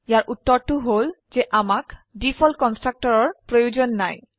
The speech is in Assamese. ইয়াৰ উত্তৰটো হল যে আমাক ডিফল্ট কন্সট্ৰাকটৰৰ প্ৰয়োজন নাই